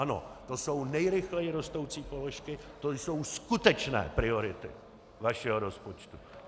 Ano, to jsou nejrychleji rostoucí položky, to jsou skutečné priority vašeho rozpočtu.